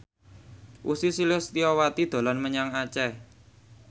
Ussy Sulistyawati dolan menyang Aceh